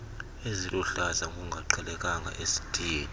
eziluhlaza ngokungaqhelekanga esitiyeni